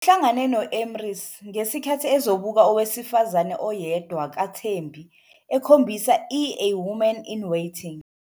Uhlangane no-Emrys, ngesikhathi ezobuka owesifazane oyedwa kaThembi ekhombisa i- "A Woman in Waiting".